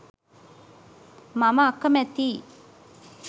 මම අකමැතියි.